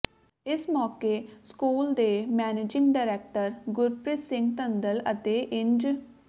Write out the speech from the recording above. ਇਸ ਮੌਕੇ ਸਕੂਲ ਦੇ ਮੈਨੇਜਿੰਗ ਡਾਇਰੈਕਟਰ ਗੁਰਪ੍ਰੀਤ ਸਿੰਘ ਧੰਦਲ ਅਤੇ ਇੰਜ